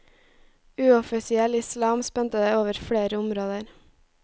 Uoffisiell islam spente over flere områder.